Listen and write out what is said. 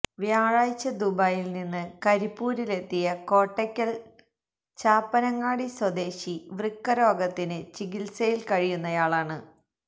വ്യാഴാഴ്ച ദുബൈയില് നിന്ന് കരിപ്പൂരിലെത്തിയ കോട്ടക്കല് ചാപ്പനങ്ങാടി സ്വദേശി വൃക്ക രോഗത്തിന് ചികിത്സയില് കഴിയുന്നയാളാണ്